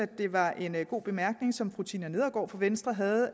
det var en god bemærkning som fru tina nedergaard fra venstre havde